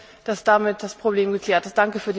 Ich hoffe, dass damit das Problem geklärt ist.